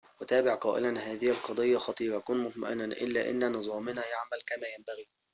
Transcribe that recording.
وتابع قائلاّ هذه القضيّة خطيرةٌ كن مطمئناً إلى أن نظامنا يعمل كما ينبغي